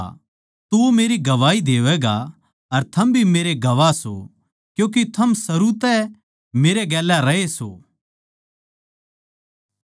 अर थम भी मेरे गवाह सो क्यूँके थम सरू तै मेरै गेल्या रहे सो